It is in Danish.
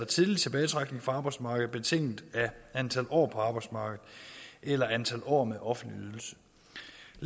tidlig tilbagetrækning fra arbejdsmarkedet betinget af antal år på arbejdsmarkedet eller antal år med offentlig